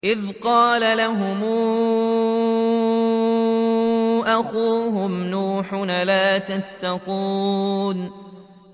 إِذْ قَالَ لَهُمْ أَخُوهُمْ نُوحٌ أَلَا تَتَّقُونَ